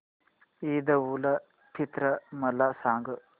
ईद उल फित्र मला सांग